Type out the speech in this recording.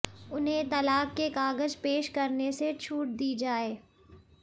उन्हें तलाक के कागज पेश करने से छूट दी जाए